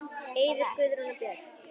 Eiður, Guðrún og börn.